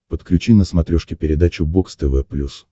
подключи на смотрешке передачу бокс тв плюс